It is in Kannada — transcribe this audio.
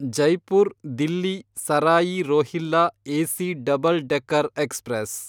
Jaipur Delhi Sarai Rohilla AC double decker express